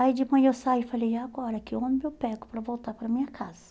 Aí de manhã eu saí e falei, e agora, que ônibus eu pego para voltar para minha casa?